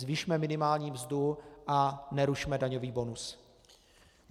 Zvyšme minimální mzdu a nerušme daňový bonus.